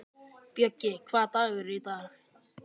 Bjöggi, hvaða dagur er í dag?